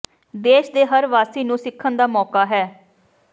ਦੇਸ਼ ਦੇ ਹਰ ਵਾਸੀ ਨੂੰ ਸਿੱਖਣ ਦਾ ਮੌਕਾ ਹੈ